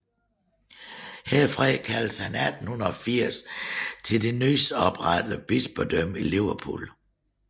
Herfra kaldtes han 1880 til det nys oprettede bispedømme Liverpool